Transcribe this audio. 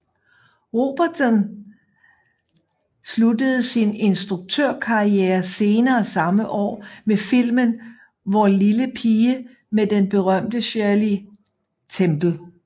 Robertson sluttede sin instruktørkarriere senere samme år med filmen Vor lille Pige med den berømte Shirley Temple